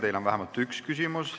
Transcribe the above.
Teile on vähemalt üks küsimus.